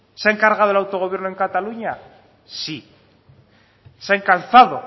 se han cargado el autogobierno en cataluña sí se han calzado